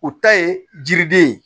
U ta ye jiriden ye